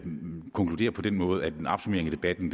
vil konkludere på den måde at en opsummering af debatten